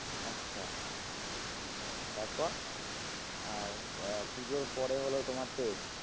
আচ্ছা তারপর আর আহ পুজোর পরে হলো তোমার test